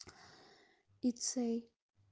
лицей